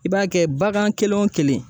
I b'a kɛ bagan kelen o kelen